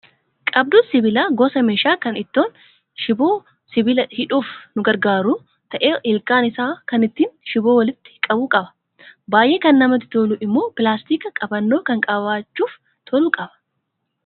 Qabduun sibiilaa gosa meeshaa kan ittiin shiboo sibiilaa hidhuuf nu gargaaru ta'ee ilkaan isaa kan ittiin shiboo walitti qabu qaba. Baay'ee kan namatti tolu immoo pilaastika qabannoo kan qabachuuf tolu qaba.